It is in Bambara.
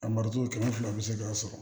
A mariton cɛ fila bɛ se k'a sɔrɔ